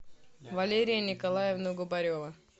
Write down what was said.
валерия николаевна губарева